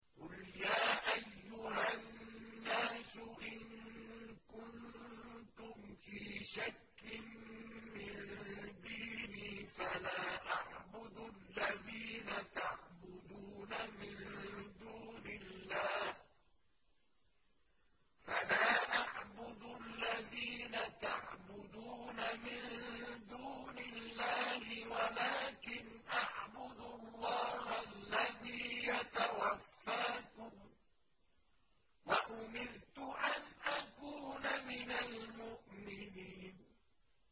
قُلْ يَا أَيُّهَا النَّاسُ إِن كُنتُمْ فِي شَكٍّ مِّن دِينِي فَلَا أَعْبُدُ الَّذِينَ تَعْبُدُونَ مِن دُونِ اللَّهِ وَلَٰكِنْ أَعْبُدُ اللَّهَ الَّذِي يَتَوَفَّاكُمْ ۖ وَأُمِرْتُ أَنْ أَكُونَ مِنَ الْمُؤْمِنِينَ